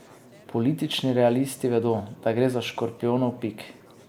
Politični realisti vedo, da gre za škorpijonov pik.